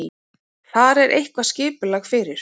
Þar er eitthvað skipulag fyrir.